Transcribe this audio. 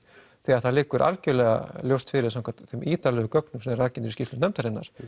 þegar það liggur algjörlega ljóst fyrir samkvæmt þeim ítarlegu gögnum sem rakin eru í skýrslunni nefndarinnar